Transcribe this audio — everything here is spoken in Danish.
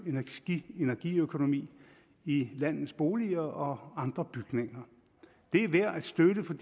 energiøkonomi i landets boliger og andre bygninger det er værd at støtte for